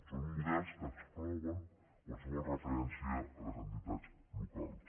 són models que exclouen qualsevol referència a les entitats locals